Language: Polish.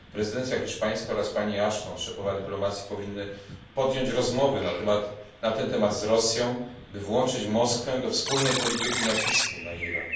Prezydencja hiszpańska oraz pani Ashton, szefowa dyplomacji, powinny podjąć rozmowy na ten temat z Rosją, by włączyć Moskwę do wspólnej polityki nacisku na Iran.